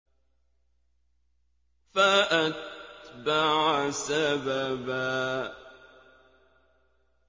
فَأَتْبَعَ سَبَبًا